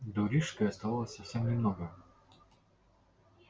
до рижской оставалось совсем немного